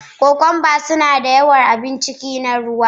Cucumbers suna da yawan abun ciki na ruwa.